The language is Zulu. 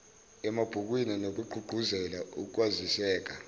emabhukwini ngokugqugquzela ukwaziseka